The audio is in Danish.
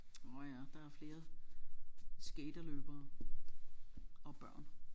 Nårh ja der er flere skaterløbere og børn